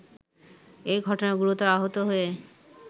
এঘটনায় গুরুতর আহত হয়ে